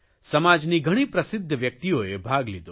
સમાજની ઘણી પ્રસિદ્ધ વ્યકિતઓએ ભાગ લીધો